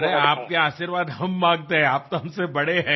अरे आपका आशीर्वाद हम मांगते हैं आप तो हमसे बड़े हैं